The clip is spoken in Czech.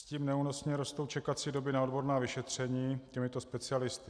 S tím neúnosně rostou čekací doby na odborná vyšetření těmito specialisty.